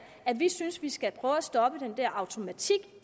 at vi synes man skal prøve at stoppe den automatik